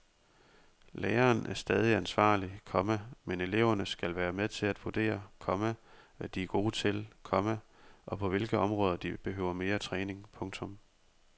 Læreren er stadig ansvarlig, komma men eleverne skal være med til at vurdere, komma hvad de er gode til, komma og på hvilke områder de behøver mere træning. punktum